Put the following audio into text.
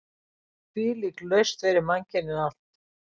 Þvílík lausn fyrir mannkynið allt!